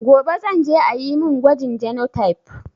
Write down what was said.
Gobe zan je ayi mun gwajin genotype